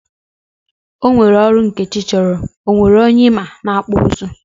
Ọnwere ọrụ Nkechi chọrọ, onwere onye ịma na akpụ nzụ?